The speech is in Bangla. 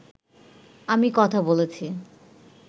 আমি কথা বলেছি